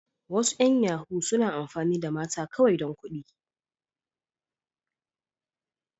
Wasu yan yahoo suna amfani da mata kawai dan kuɗi.